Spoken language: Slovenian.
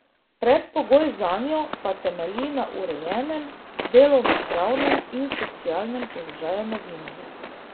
Predpogoj zanjo pa temelji na urejenem delovnopravnem in socialnem položaju novinarjev.